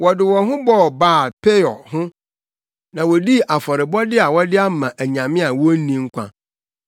Wɔde wɔn ho bɔɔ Baal-Peor ho na wodii afɔrebɔde a wɔde ama anyame a wonni nkwa;